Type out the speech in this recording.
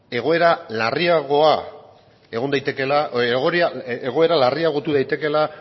egoera larriagotu daitekeela